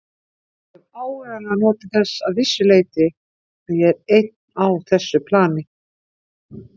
Ég hef áreiðanlega notið þess að vissu leyti að ég er einn á þessu plani.